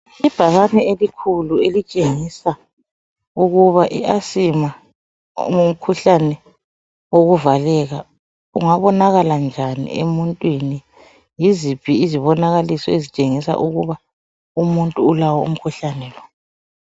Ibhakane elikhulu elitshengisa ukuba i asima ngumkhuhlane wokuvaleka. Ungabonakala njani emuntwini, yiźiphi izibonakaliso ezitshengisa umuntu ulawo umkhuhlane lo.